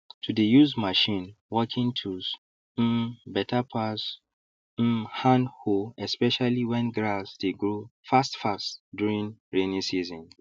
to dey use machine working tools um better pass um hand hoe especially when grass dey grow fastfast during rainy season